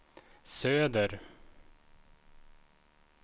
söder